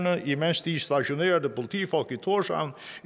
imens de stationerede politifolk i tórshavn